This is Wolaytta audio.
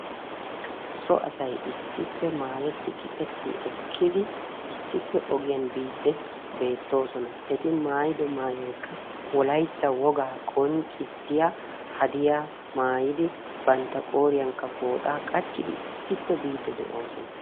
So asay issippe maayyetti gixetti ekkidi issippe ogiyaan biide beettoosona. Eti maayyido maayoykka Wolaytta wogaa qoncissiya hadiyaa maayyidi bantta qooriyankka pooxxa qachchidi issippe biide de'oosona.